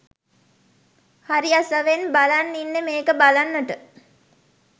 හරි අසවෙන් බලන් ඉන්නෙ මේක බලන්ට